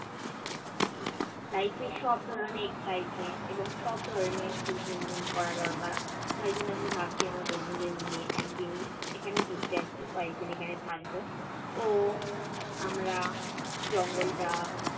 life এ সব ধরনের exitement এবং সব ধরণের fulfillment করা দরকার। তাই জন্য আমি ভাবছি আমার বন্ধুদের নিয়ে একদিন এখানে ঘুরতে আসব কয়েকদিন এখানে থাকব ও আমরা জঙ্গলটা